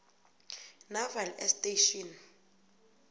naval air station